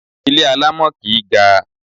Ilé alámọ̀ kìí ga.